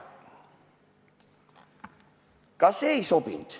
Ka see ei sobinud.